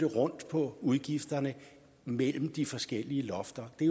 rundt på udgifterne mellem de forskellige lofter det